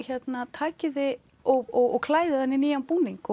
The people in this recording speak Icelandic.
takið þið og klæðið hann í nýjan búning